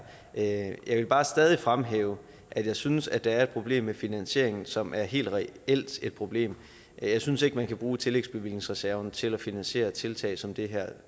af jeg vil bare stadig fremhæve at jeg synes der er et problem med finansieringen som er et helt reelt problem jeg synes ikke at man kan bruge tillægsbevillingsreserven til at finansiere tiltag som det her